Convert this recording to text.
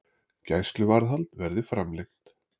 Gæsluvarðhald verði framlengt